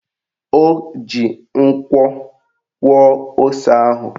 O ji nkwo kwọọ ose ahụ